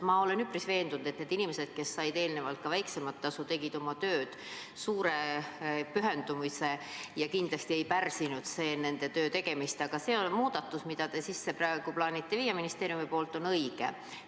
Ma olen üpris veendunud, et need inimesed, kes said enne väiksemat tasu, tegid oma tööd suure pühendumisega ja kindlasti ei pärssinud see nende töötamist, aga see muudatus, mida te praegu plaanite ministeeriumiga sisse viia, on õige.